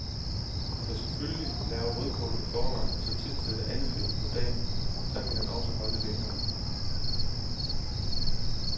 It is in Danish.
Du kan selvfølgelig lave rødkålen i forvejen og så tilsætte andefedt på dagen, så kan den også holde længere.